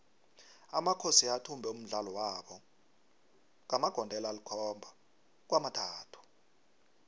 amakhosi athumbe umdlalo wabo ngamagondelo alikhomaba kwamathathu